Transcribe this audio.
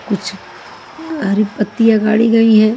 कुछ हरी पत्तियाँ गाडी गई है।